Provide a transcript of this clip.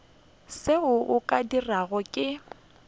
seo o ka rego ke